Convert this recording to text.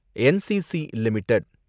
NCC limited